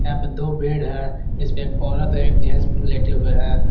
यहां पे दो बेड है इस पे एक औरत एक जेंट्स लेटे हुए हैं।